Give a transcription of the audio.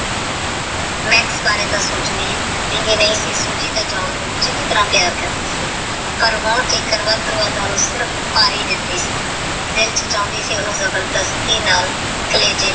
ਮਾਕ੍ਸ ਬਾਰੇ ਤਹ ਸੋਚਣਾ ਨਹੀ ਸੀ ਕੁਕੀ ਓਹ ਜਾਨ ਨੂਚ੍ਨਾਗੀ ਤਰਗ ਪਯਾਰ ਕਰਦੀ ਸੀ ਪਰ ਓਹਨੁ ਤੇਹ ਸਿਰਫ ਪਾਰੀ ਦਿੱਤੀ ਸੀ ਦਿਲ ਤੇਹ ਚੁਣਦੀ ਸੀ ਕੀ ਓਹਨੁ ਜਬਰਦਸਤੀ ਨਾਲ ਕਲੇਜੀ ਨਾਲ